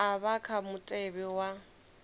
a vha kha mutevhe wa